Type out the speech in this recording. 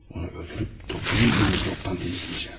Onu öldürüb toplum mikrobdan təmizləyəcəm.